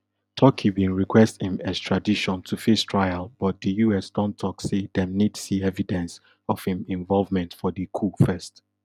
turkey bin request im extradition to face trial but di us don tok say dem need see evidence of im involvement for di coup first